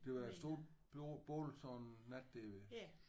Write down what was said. Det var da et stort bål sådan en nat der ved